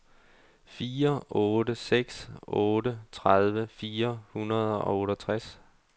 fire otte seks otte tredive fire hundrede og otteogtres